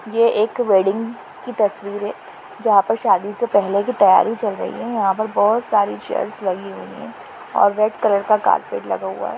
ये एक वेडिंग की तस्वीर है। जहा पर शादी से पहले की तयारी चल रही है। यहापर बहुत सारी चेयर्स लगी हुई है और रेड कलर का कार्पेट लगा हुआ है।